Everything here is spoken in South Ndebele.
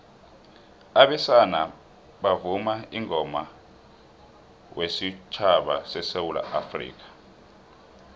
abesana bavuma ingoma wesutjhaba sesewula afrikha